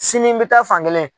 Sini n bɛ taa fan kelen.